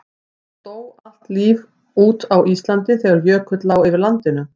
Dó allt líf út á Íslandi þegar jökull lá yfir landinu?